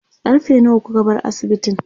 karfe nawa kuka bar asibitin?